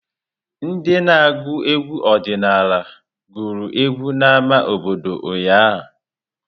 Ndị na agụ egwu ọdịnala gụrụ egwu n'ámá obodo ụnyahụ.